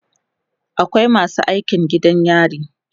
akwai masu aikin gidan yari